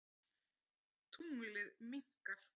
Tunglið minnkar.